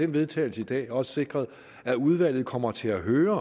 vedtagelse i dag også sikret at udvalget kommer til at høre